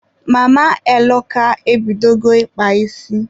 Mama Eloka e bidogo ịkpa isi.